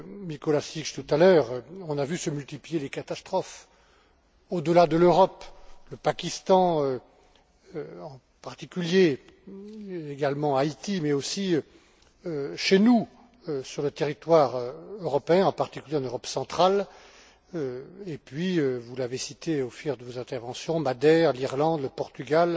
Mikolášik tout à l'heure, on a vu se multiplier les catastrophes au delà de l'Europe le Pakistan en particulier, également Haïti mais aussi chez nous, sur le territoire européen, en particulier en Europe centrale. Et puis, vous l'avez cité au fil de vos interventions, Madère, l'Irlande, le Portugal